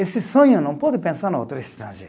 Esse sonho não pode pensar no outro estrangeiro.